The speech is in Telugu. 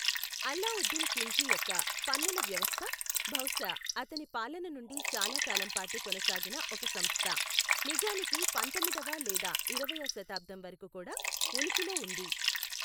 అల్లావుద్దీన్ ఖిల్ల్జీ యొక్క పన్నుల వ్యవస్థ బహుశా అతని పాలన నుండి చాలా కాలం పాటు కొనసాగిన ఒక సంస్థ, నిజానికి పందొమ్మిదవ లేదా ఇరవయ్యవ శతాబ్దం వరకు కూడా ఉనికిలో ఉంది.